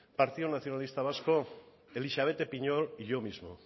partido nacionalista vasco elixabete piñol y yo mismo